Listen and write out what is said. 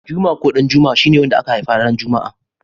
Juma ko Ɗanjuma shi ne wanda aka haifa ranar juma'a.